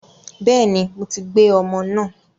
Bẹ́ẹ̀ni, mo ti gbé ọmọ náà